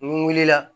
N wulila